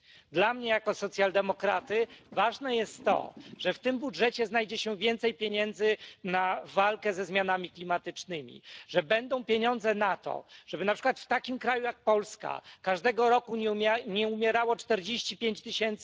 Dla mnie jako socjaldemokraty ważne jest to, że w tym budżecie znajdzie się więcej pieniędzy na walkę ze zmianami klimatycznymi, że będą pieniądze na to, żeby na przykład w takim kraju jak Polska każdego roku nie umierało 45 tys.